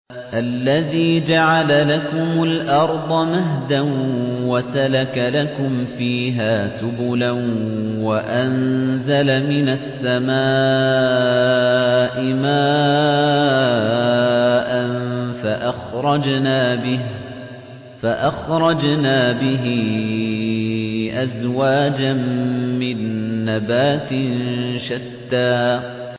الَّذِي جَعَلَ لَكُمُ الْأَرْضَ مَهْدًا وَسَلَكَ لَكُمْ فِيهَا سُبُلًا وَأَنزَلَ مِنَ السَّمَاءِ مَاءً فَأَخْرَجْنَا بِهِ أَزْوَاجًا مِّن نَّبَاتٍ شَتَّىٰ